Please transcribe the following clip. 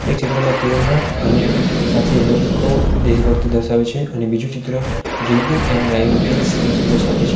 આ ચિત્રમાં તિરંગા અને સાથે લોકો દેશભક્તિ દર્શાવે છે અને બીજું ચિત્ર ડ્રિંકિંગ એન્ડ ડ્રાઇવિંગ કિલ્સ નો સંદેશો આપે છે.